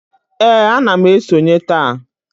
Ee, ana m esonye taa